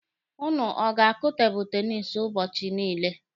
Ụnụ ọ na-akụ tebụlụ tenisi ụbọchị niile?